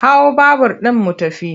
Hau babur ɗin mu tafi!